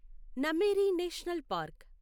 Nameri national park